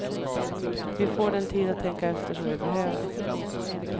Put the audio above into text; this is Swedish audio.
Vi får den tid att tänka efter som vi behöver.